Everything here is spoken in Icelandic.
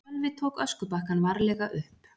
Sölvi tók öskubakkann varlega upp.